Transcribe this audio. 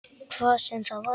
Hvað sem það var.